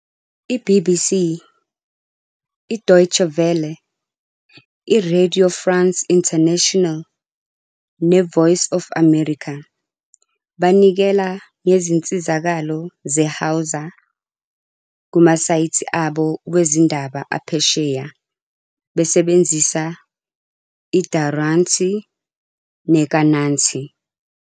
I- BBC, iDeutsche Welle, iRadio France Internationale neVoice of America banikela ngezinsizakalo zeHausa kumasayithi abo wezindaba aphesheya besebenzisa iDauranci neKananci.